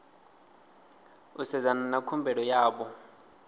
u sedzana na khumbelo yavho